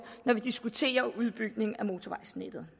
når vi diskuterer en udbygning af motorvejsnettet